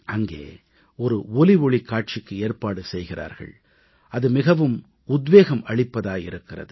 அங்கே ஒரு ஒலிஒளிக் காட்சிக்கு ஏற்பாடு செய்கிறார்கள் அது மிகவும் உத்வேகம் அளிப்பதாய் இருக்கிறது